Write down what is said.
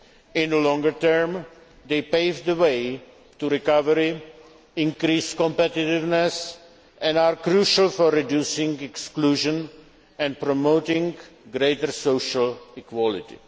In the longer term, they pave the way to recovery, increase competitiveness and are crucial for reducing exclusion and promoting greater social equality.